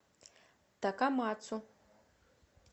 такамацу